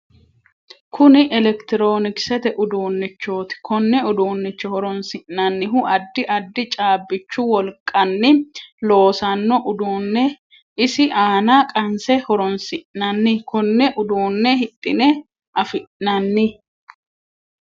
Kunni elekitiroonikisete uduunichooti. Konne uduunicho horoonsi'nannihu addi addi caabichu wolqanni loosano uduune isi aanna qanse horoonsi'nanni. Konne uduune hidhine afi'nanni.